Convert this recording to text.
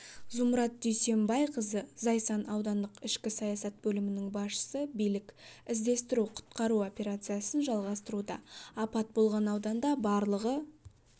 зумрад дүйсенбайқызы зайсан аудандық ішкі саясат бөлімінің басшысы билік іздестіру-құтқару операциясын жалғастыруда апат болған ауданда барлығы